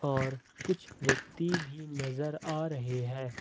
और कुछ व्यक्ति भी नजर आ रहे हैं।